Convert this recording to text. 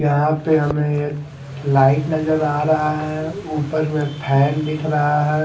यहा पर हमे एक लाइट नजर आ रहा है उपर में फेन दिख रहा है।